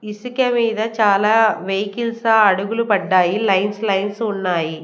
ఇసికె మీద చాలా వెహికల్స్ అడుగులు పడ్డాయి లైన్సు లైన్సు ఉన్నాయి.